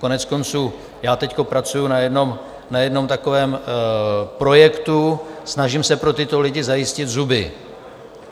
Koneckonců já teď pracuji na jednom takovém projektu, snažím se pro tyto lidi zajistit zuby.